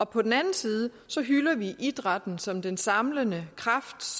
på den anden side hylder vi idrætten som den samlende kraft